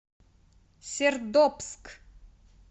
сердобск